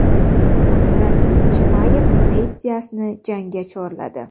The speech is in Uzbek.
Hamzat Chimayev Neyt Diasni jangga chorladi.